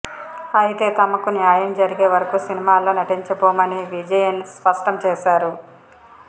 అయితే తమకు న్యాయం జరిగే వరకు సినిమాల్లో నటించాబోమని విజయన్ స్పష్టం చేశారు